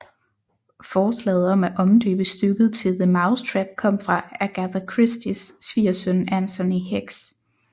Forslaget om at omdøbe stykket til The Mousetrap kom fra Agatha Christies svigersøn Anthony Hicks